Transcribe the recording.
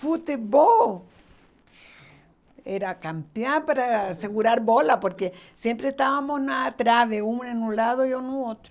Futebol era campeã para segurar bola, porque sempre estávamos atrás de um em um lado e no outro.